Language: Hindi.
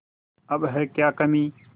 अब है क्या कमीं